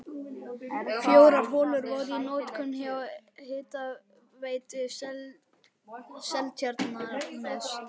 Fjórar holur voru í notkun hjá Hitaveitu Seltjarnarness.